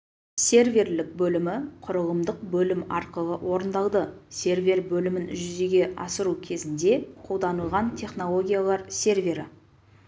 серверлік бөлімі құрылымдық бөлім арқылы орындалды сервер бөлімін жүзеге асыру кезінде қолданылған технологиялар сервері